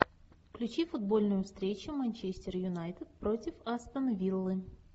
включи футбольную встречу манчестер юнайтед против астон виллы